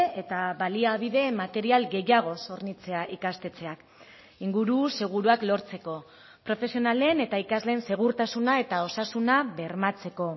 eta baliabide material gehiagoz hornitzea ikastetxeak inguru seguruak lortzeko profesionalen eta ikasleen segurtasuna eta osasuna bermatzeko